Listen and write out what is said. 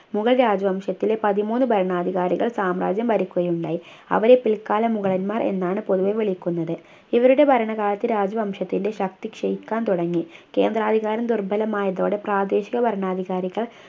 മുഗൾ രാജവംശത്തിലെ പതിമൂന്നു ഭരണാധികാരികൾ സാമ്രാജ്യം ഭരിക്കുകയുണ്ടായി അവരെ പിൽക്കാല മുഗളന്മാർ എന്നാണ് പൊതുവേ വിളിക്കുന്നത് ഇവരുടെ ഭരണകാലത്ത് രാജവംശത്തിൻ്റെ ശക്തി ക്ഷയിക്കാൻ തുടങ്ങി കേന്ദ്രാധികാരം ദുർബലമായതോടെ പ്രാദേശിക ഭരണാധികാരികൾ